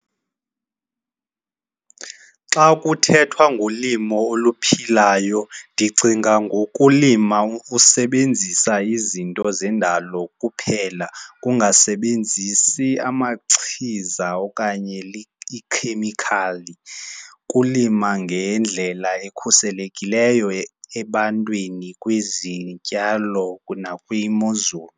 Xa kuthethwa ngolimo oluphilayo ndicinga ngokulima usebenzisa izinto zendalo kuphela, ungasebenzi amachiza okanye iikhemikhali. Kulima ngendlela ekhuselekileyo ebantwini kwizityalo nakwimozulu.